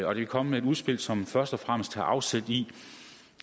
vi er kommet med et udspil som først og fremmest tager afsæt i